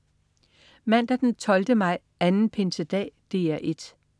Mandag den 12. maj. Anden pinsedag - DR 1: